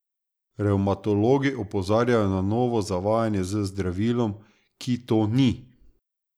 Revmatologi opozarjajo na novo zavajanje z zdravilom, ki to ni.